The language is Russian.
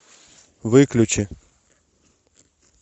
выключи